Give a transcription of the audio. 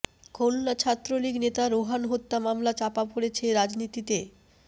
খুলনা ছাত্রলীগ নেতা রোহান হত্যা মামলা চাপা পড়ছে রাজনীতিতে